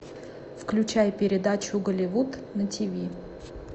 включай передачу голливуд на тиви